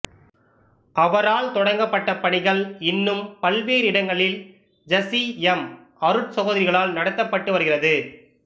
அவரால் தொடங்கப்பட்ட பணிகள் இன்னும் பல்வேறு இடங்களில் ஜ சி எம் அருட்சகோதரிகளால் நடத்தப்பட்டுவருகிறது